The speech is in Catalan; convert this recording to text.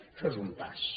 això és un pas